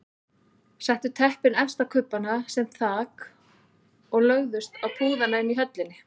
Settu teppin efst á kubbana sem þak og lögðust á púðana inni í höllinni.